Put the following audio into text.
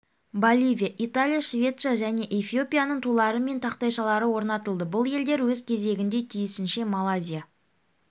боливия италия швеция және эфиопияның тулары мен тақтайшалары орнатылды бұл елдер өз кезегінде тиісінше малайзия